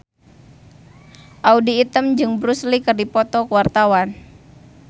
Audy Item jeung Bruce Lee keur dipoto ku wartawan